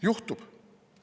Juhtub.